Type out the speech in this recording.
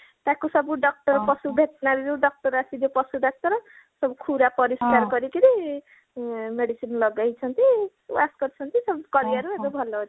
ତାକୁ ସବୁ doctor ପଶୁ veterinary ରୁ doctor ଆସିକି ଯୋଉ ପଶୁଡାକ୍ତର ସବୁ ଖୁରା ପରିଷ୍କାର କରିକିରି ଆଁ medicine ଲଗେଇଛନ୍ତି wash କରିଛନ୍ତି ସେମିତି କରିବାରୁ ଏବେ ଭଲ ଅଛି